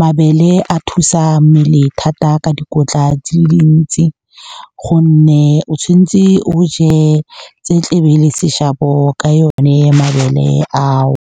Mabele a thusa mmele thata ka dikotla tse dintsi gonne o tshwanetse o je tse tlebe le seshabo ka yone mabele ao.